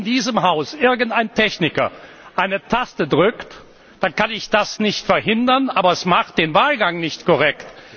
Wenn dann in diesem Haus irgendein Techniker eine Taste drückt, dann kann ich das nicht verhindern, aber es macht den Wahlgang nicht korrekt.